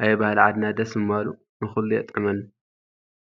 ኣየ ባሀሊ ኣድና ደስ ምባሉ፡፡ ንኹሉ የጥዕመሉ፡፡